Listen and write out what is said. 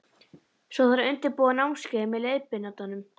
Svo þarf að undirbúa námskeiðið með leiðbeinandanum.